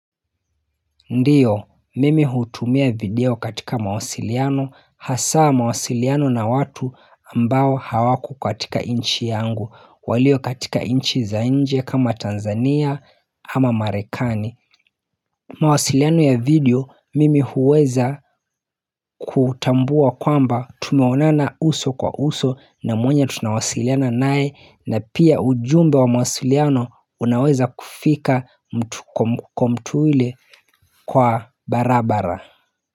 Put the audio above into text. Ndiyo mimi hutumia video katika mawasiliano hasaa mawasiliano na watu ambao hawako katika inchi yangu walio katika inchi za inje kama Tanzania ama Marekani mawasiliano ya video mimi huweza kutambua kwamba tumeonana uso kwa uso na mwenye tunawasiliana naye na pia ujumbe wa mawasiliano unaweza kufika mtuile kwa barabara.